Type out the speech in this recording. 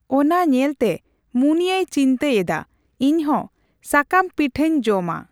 ᱚᱱᱟ ᱧᱮᱞᱛᱮ ᱢᱩᱱᱤᱭᱟᱹᱭ ᱪᱤᱱᱛᱟᱹ ᱮᱫᱟ ᱾ᱤᱧ ᱦᱚᱸ ᱥᱟᱠᱚᱢ ᱯᱤᱴᱷᱟᱹᱧ ᱡᱚᱢᱟ ᱾